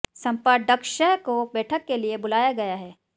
संपत ङ्क्षसह को बैठक के लिए बुलाया गया है